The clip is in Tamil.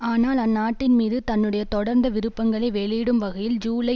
ஆனால் அந்நாட்டின்மீது தன்னுடைய தொடர்ந்த விருப்பங்களை வெளியிடும் வகையில் ஜூலை